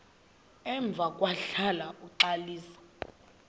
emva kwahlala uxalisa